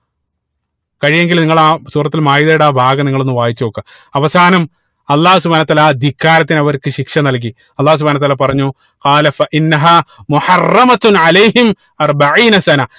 കഴിയുമെങ്കിൽ നിങ്ങള് ആ സൂറത്തുൽ മാഇതയുടെ ആ ഭാഗം നിങ്ങള് ഒന്ന് വായിച്ച് നോക്ക അവസാനം അള്ളാഹു സുബ്‌ഹാനഉ വതാല ആ ധിക്കാരത്തിന് അവർക്ക് ശിക്ഷ നൽകി അള്ളാഹു സുബ്‌ഹാനഉ വതാല പറഞ്ഞു